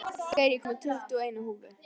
Geir, ég kom með tuttugu og eina húfur!